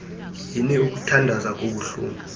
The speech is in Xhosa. yini ukuthandaza kubuhlungu